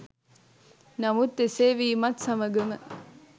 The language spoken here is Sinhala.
නමුත් එසේ වීමත් සමගම